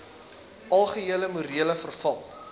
algehele morele verval